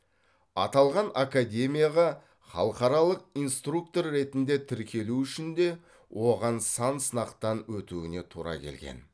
аталған академияға халықаралық инструктор ретінде тіркелу үшінде оған сан сынақтан өтуіне тура келген